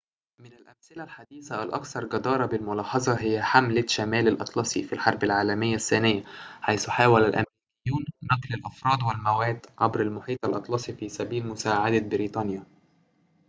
من الأمثلة الحديثة الأكثر جدارةً بالملاحظة هي حملة شمال الأطلسي في الحرب العالمية الثانية حيث حاول الأمريكيون نقل الأفراد والمواد عبر المحيط الأطلسي في سبيل مساعدة بريطانيا